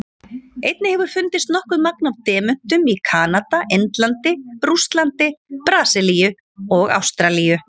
Einnig hefur fundist nokkuð magn af demöntum í Kanada, Indlandi, Rússlandi, Brasilíu og Ástralíu.